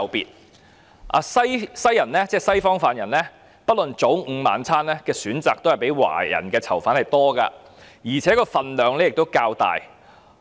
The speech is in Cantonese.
本身是西方人士的犯人不論早、午、晚餐的選擇也較華人囚犯多，而且份量也較大。